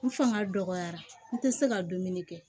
N fanga dɔgɔyara n tɛ se ka dumuni kɛ